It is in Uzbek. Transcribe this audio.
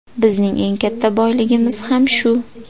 Bizning eng katta boyligimiz ham shu.